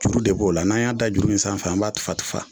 Juru de b'o la n'a y'a dan juru in sanfɛ, an b'a tufa tufa